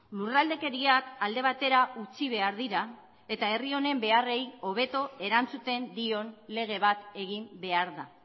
lurraldekeriak alde batera utzi behar dira eta herri honen beharrei hobeto erantzuten dion lege bat egin behar da